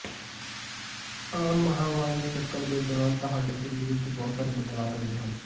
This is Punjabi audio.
ਆਮ ਮਾਹਵਾਰੀ ਚੱਕਰ ਦੇ ਦੌਰਾਨ ਤੁਹਾਡੇ ਸਰੀਰ ਵਿੱਚ ਬਹੁਤ ਸਾਰੇ ਬਦਲਾਵ ਪੈਂਦੇ ਹਨ